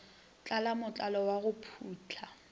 thala mothalo wa go putla